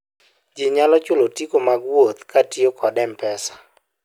ji nyalo chulo otiko mag wuoth kotiyo kod mpesa